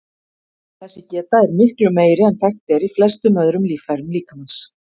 Þessi geta er miklu meiri en þekkt er í flestum öðrum líffærum líkamans.